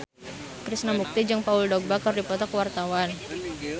Krishna Mukti jeung Paul Dogba keur dipoto ku wartawan